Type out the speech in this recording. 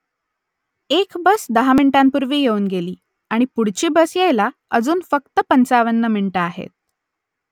एक बस दहा मिनिटांपूर्वी येऊन गेली आणि पुढची बस यायला अजून फक्त पंचावन्न मिनिटं आहेत